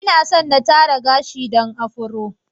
Inaso na tara gashi dan Afro.